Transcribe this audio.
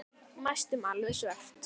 Næstum alveg svört.